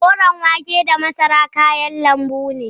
Koren wake da masara kayan lanbu ne.